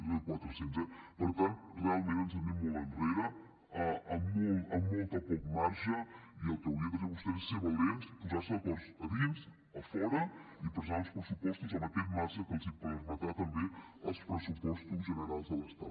és a dir que realment ens n’anem molt enrere amb molt poc marge i el que haurien de fer vostès és ser valents posar se d’acord a dins a fora i presentar uns pressupostos amb aquest marge que els permetran també els pressupostos generals de l’estat